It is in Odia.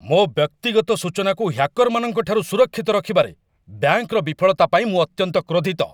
ମୋ ବ୍ୟକ୍ତିଗତ ସୂଚନାକୁ ହ୍ୟାକର୍‌ମାନଙ୍କ ଠାରୁ ସୁରକ୍ଷିତ ରଖିବାରେ ବ୍ୟାଙ୍କର ବିଫଳତା ପାଇଁ ମୁଁ ଅତ୍ୟନ୍ତ କ୍ରୋଧିତ।